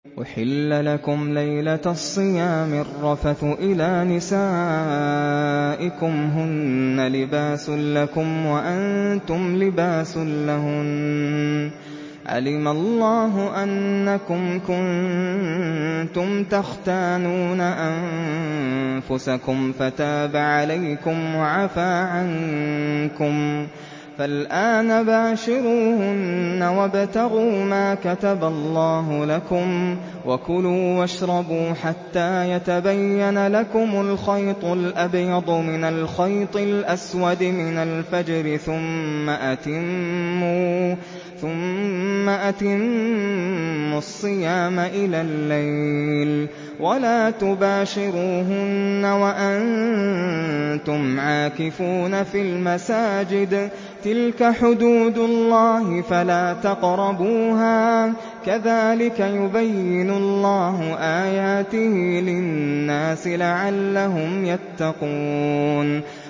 أُحِلَّ لَكُمْ لَيْلَةَ الصِّيَامِ الرَّفَثُ إِلَىٰ نِسَائِكُمْ ۚ هُنَّ لِبَاسٌ لَّكُمْ وَأَنتُمْ لِبَاسٌ لَّهُنَّ ۗ عَلِمَ اللَّهُ أَنَّكُمْ كُنتُمْ تَخْتَانُونَ أَنفُسَكُمْ فَتَابَ عَلَيْكُمْ وَعَفَا عَنكُمْ ۖ فَالْآنَ بَاشِرُوهُنَّ وَابْتَغُوا مَا كَتَبَ اللَّهُ لَكُمْ ۚ وَكُلُوا وَاشْرَبُوا حَتَّىٰ يَتَبَيَّنَ لَكُمُ الْخَيْطُ الْأَبْيَضُ مِنَ الْخَيْطِ الْأَسْوَدِ مِنَ الْفَجْرِ ۖ ثُمَّ أَتِمُّوا الصِّيَامَ إِلَى اللَّيْلِ ۚ وَلَا تُبَاشِرُوهُنَّ وَأَنتُمْ عَاكِفُونَ فِي الْمَسَاجِدِ ۗ تِلْكَ حُدُودُ اللَّهِ فَلَا تَقْرَبُوهَا ۗ كَذَٰلِكَ يُبَيِّنُ اللَّهُ آيَاتِهِ لِلنَّاسِ لَعَلَّهُمْ يَتَّقُونَ